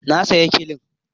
Na sayi tulun